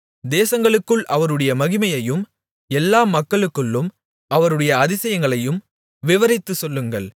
தேசங்களுக்குள் அவருடைய மகிமையையும் எல்லா மக்களுக்குள்ளும் அவருடைய அதிசயங்களையும் விவரித்துச் சொல்லுங்கள்